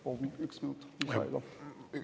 Palun üks minut!